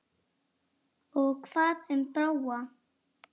Og hvað um Bróa?